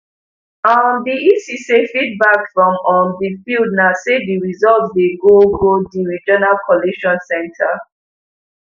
um di ec say feedback from um di field na say di results dey go go di regional collation centre